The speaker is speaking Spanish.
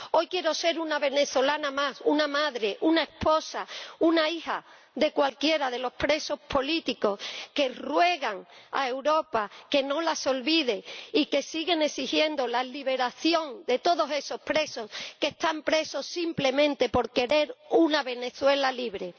Hoy quiero ser una venezolana más, una madre, una esposa, una hija de cualquiera de los presos políticos que ruegan a Europa que no las olviden y que siguen exigiendo la liberación de todos esos presos que lo están simplemente por querer una Venezuela libre.